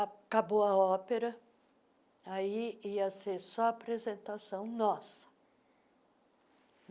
Acabou a ópera, aí ia ser só apresentação nossa.